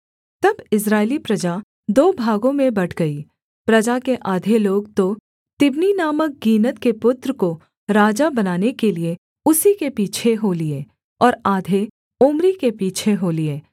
तब इस्राएली प्रजा दो भागों में बँट गई प्रजा के आधे लोग तो तिब्नी नामक गीनत के पुत्र को राजा बनाने के लिये उसी के पीछे हो लिए और आधे ओम्री के पीछे हो लिए